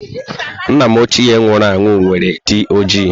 Nna ochie m nwụrụ anwụ nwere dị ojii.